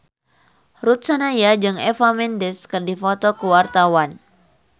Ruth Sahanaya jeung Eva Mendes keur dipoto ku wartawan